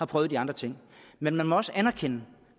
prøvet de andre ting men man må også anerkende